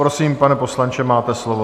Prosím, pane poslanče, máte slovo.